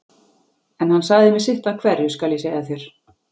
En hann sagði mér sitt af hverju, skal ég segja þér.